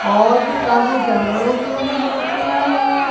और भी काफी जानवरों की अभी मूर्तियां हैं।